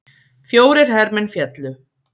Fjórir hermenn féllu